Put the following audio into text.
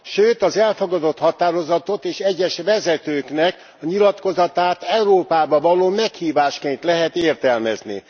Sőt, az elfogadott határozatot és egyes vezetőknek a nyilatkozatát Európába való meghívásként lehet értelmezni.